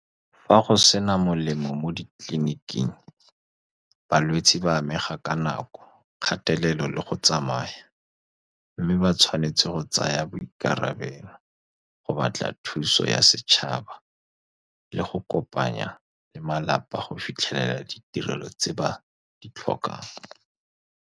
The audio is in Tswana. Fa go sena melemo mo ditleliniking, balwetse ba amega ka nako, kgatelelo le go tsamaya, mme ba tshwanetse go tsaya boikarabelo go batla thuso ya setšhaba le go kopanya le malapa go fitlhelela ditirelo tse ba di tlhokang.